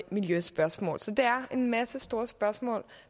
miljøspørgsmål så det er en masse store spørgsmål